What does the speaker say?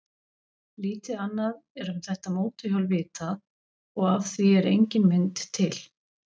Lítið annað er um þetta mótorhjól vitað og af því er engin mynd til.